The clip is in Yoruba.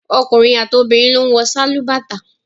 Ọkùnrin àti obìnrin ló ń wọ sálúbàtà